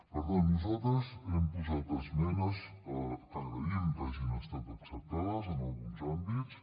per tant nosaltres hem posat esmenes que agraïm que hagin estat acceptades en alguns àmbits